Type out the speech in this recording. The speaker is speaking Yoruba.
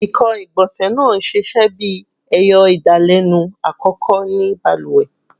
Ekan igbonse naa n ṣiṣẹ bi ẹyọ idalẹnu akọkọ ni baluwe